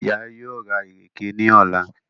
Ìyá yóò rà ìrèké ní ọ̀la